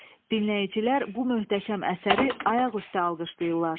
Dinləyicilər bu möhtəşəm əsəri ayaq üstə alqışlayırlar.